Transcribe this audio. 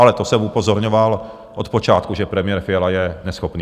Ale to jsem upozorňoval od počátku, že premiér Fiala je neschopný.